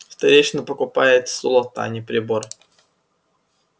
старейшина покупает золото а не прибор